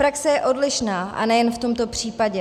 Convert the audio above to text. Praxe je odlišná, a nejen v tomto případě.